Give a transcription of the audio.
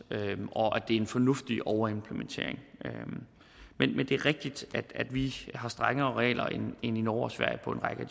og det er en fornuftig overimplementering men men det er rigtigt at vi har strengere regler end i norge og sverige på en række